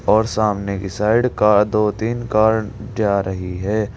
और सामने के साइड का दो तीन कार जा रही है।